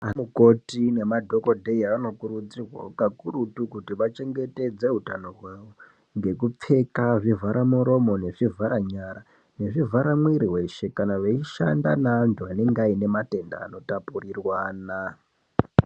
Anamukoti nemadhokodheya anokurudzirwa kuti kakurutu kuti vachengetedze utano hwedu, ngekupfeka zvivharamuromo nezvivharanyara nezvivharamwiri weshe, kana veishanda neanhu anenga aine matenda anotapurirwana.